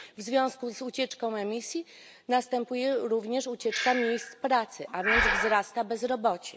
W związku z ucieczką emisji, następuje również ucieczka miejsc pracy, a więc wzrasta bezrobocie.